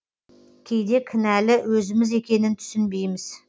кейде кінәлі өзіміз екенін түсінбейміз